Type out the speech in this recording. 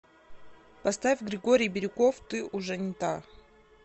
поставь григорий бирюков ты уже не та